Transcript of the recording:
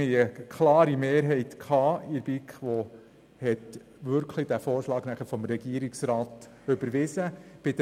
Wir hatten in der BiK eine klare Mehrheit, die den Vorschlag des Regierungsrats wirklich überwiesen hat.